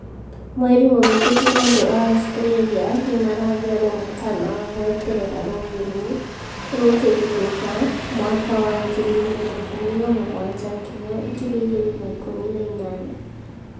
Mweri muhituku andu a Australia nimaraheirwo mũkaana wa gweterera rũũĩ rũu rũkĩhithũka mwaka wa 2017-2018.